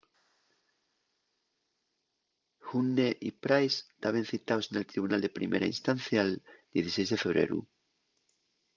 huhne y pryce taben citaos nel tribunal de primera instancia'l 16 de febreru